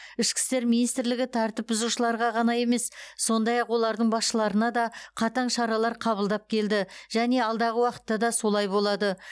ішкі істер министрлігі тәртіп бұзушыларға ғана емес сондай ақ олардың басшыларына да қатаң шаралар қабылдап келді және алдағы уақытта да солай болады